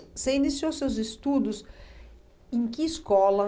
Você iniciou seus estudos em que escola?